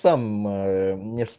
там